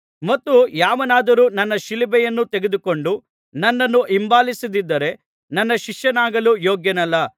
ಮತ್ತು ಯಾವನಾದರೂ ತನ್ನ ಶಿಲುಬೆಯನ್ನು ತೆಗೆದುಕೊಂಡು ನನ್ನನ್ನು ಹಿಂಬಾಲಿಸದಿದ್ದರೆ ನನ್ನ ಶಿಷ್ಯನಾಗಲು ಯೋಗ್ಯನಲ್ಲ